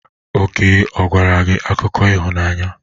Oke ọ gwara gị akụkọ ịhụnanya?